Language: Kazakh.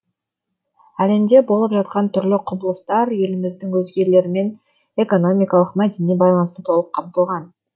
әлемде болып жатқан түрлі құбылыстар еліміздің өзгелермен экономикалық мәдени байланысы толық қамтылған